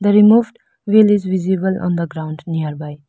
The removed wheel is visible on the ground nearby.